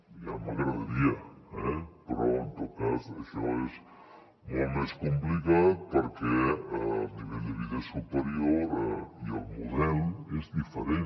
ja m’agradaria eh però en tot cas això és molt més complicat perquè el nivell de vida és superior i el model és diferent